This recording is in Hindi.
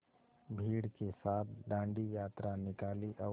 भीड़ के साथ डांडी यात्रा निकाली और